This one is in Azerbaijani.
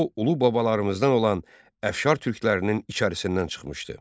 O, ulu babalarımızdan olan əfşar türklərinin içərisindən çıxmışdı.